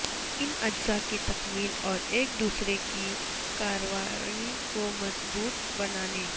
ان اجزاء کی تکمیل اور ایک دوسرے کی کارروائی کو مضبوط بنانے